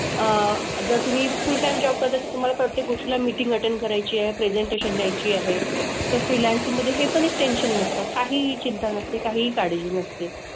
अह जर तुम्ही full time job करताय तर तुम्हाला प्रत्येक गोष्टीला meeting attend करायची आहे, presentation द्यायची आहे. तर freelancing मधे हे पण एक tension नसतं. काहीही चिंता नसते, काहीही काळजी नसते.